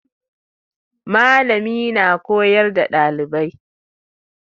Malami na koyar da ɗalibai